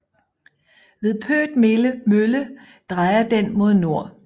Ved Pøt Mølle drejer den mod nord